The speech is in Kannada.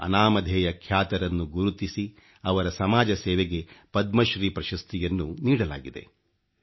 ಈ ಅನಾಮಧೇಯ ಖ್ಯಾತರನ್ನು ಗುರುತಿಸಿ ಅವರ ಸಮಾಜಸೇವೆಗೆ ಪದ್ಮಶ್ರೀ ಪ್ರಶಸ್ತಿಯನ್ನು ನೀಡಲಾಗಿದೆ